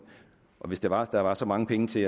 hvis det var at der var så mange penge til